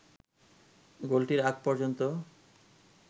গোলটির আগ পর্যন্ত